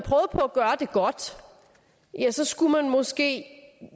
gøre det godt så skulle vi måske